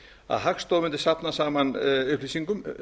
að hagstofan mundi safna saman upplýsingum